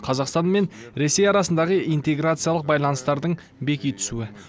қазақстан мен ресей арасындағы интеграциялық байланыстардың беки түсуі